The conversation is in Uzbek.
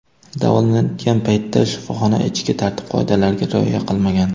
davolanayotgan paytda shifoxona ichki tartib-qoidalariga rioya qilmagan.